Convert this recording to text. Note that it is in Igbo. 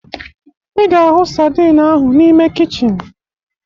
Ị ga-ahụ sadin ahụ n'ime kichin